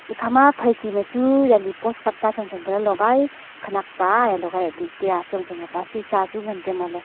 ikhama phaichi ma chu yali poskat pa chongchong pa lagai khanak paa e lagai tu tiya achong chong ka pa sisa chu ngantaiya mo ley.